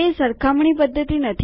તે સરખામણી પદ્ધતિ નથી